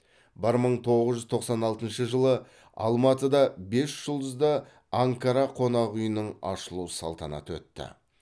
бір мың тоғыз жүз тоқсан алтыншы жылы алматыда бесжұлдызды анкара қонақ үйінің ашылу салтанаты өтті